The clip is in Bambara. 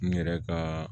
N yɛrɛ ka